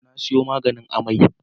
Na sayo maganin amai.